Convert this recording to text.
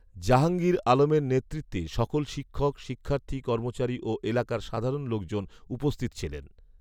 জাহাঙ্গীর আলমের নেতেৃত্বে সকল শিক্ষক, শিক্ষার্থী, কর্মচারী ও এলাকার সাধারণ লোকজন উপস্থিত ছিলেন